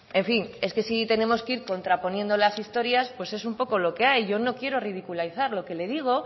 en fin es que si tenemos que ir contraponiendo las historias pues es un poco lo que hay yo no quiero ridiculizar lo que le digo